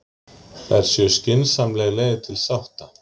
Þær séu skynsamleg leið til sátta